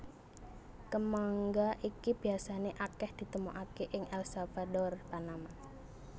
Kemangga iki biasané akèh ditemokaké ing El Salvador Panama